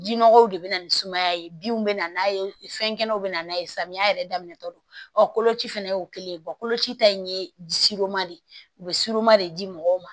Ji nɔgɔw de bɛ na ni sumaya ye binw bɛ na n'a ye fɛnkɛnɛw bɛna n'a ye samiya yɛrɛ daminɛ tɔ don ɔ koloci fɛnɛ ye o kelen ye koloci ta in ye de ye u bɛ de di mɔgɔw ma